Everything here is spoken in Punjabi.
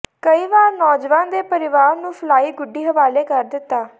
ਕਈ ਵਾਰ ਨੌਜਵਾਨ ਦੇ ਪਰਿਵਾਰ ਨੂੰ ਫਲਾਈ ਗੁੱਡੀ ਹਵਾਲੇ ਕਰ ਦਿੱਤਾ